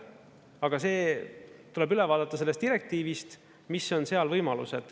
Aga see tuleb üle vaadata sellest direktiivist, mis on seal võimalused.